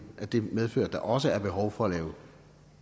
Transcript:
medfører at der også er behov for at lave